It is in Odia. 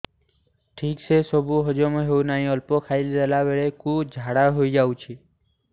ଠିକସେ ସବୁ ହଜମ ହଉନାହିଁ ଅଳ୍ପ ଖାଇ ଦେଲା ବେଳ କୁ ଝାଡା ହେଇଯାଉଛି